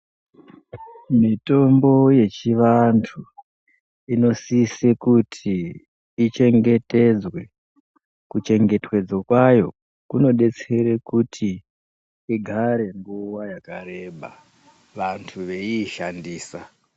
Mitombo yechivantu, inosise kuti ichengetedzwe. Kuchengetwedzwa kwayo kunodetsere kuti igare nguva yakareba, vantu veiishandisa.